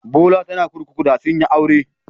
Bola tana kurkuku da sun yi aure.